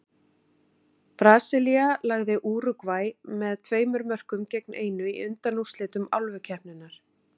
Brasilía lagði Úrúgvæ með tveimur mörkum gegn einu í undanúrslitum Álfukeppninnar.